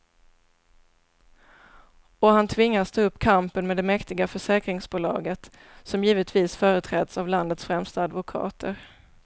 Och han tvingas ta upp kampen med det mäktiga försäkringsbolaget, som givetvis företräds av landets främsta advokater.